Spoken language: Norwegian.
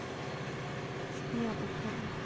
Stian Opheim